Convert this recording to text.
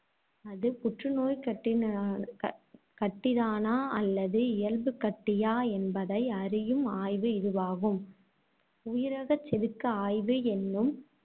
அது புற்று நோய்க்கட்டி கட்டிதானா அல்லது இயல்புக் கட்டியா என்பதை அறியும் ஆய்வு இதுவாகும். உயிரகச்செதுக்கு ஆய்வு என்னும்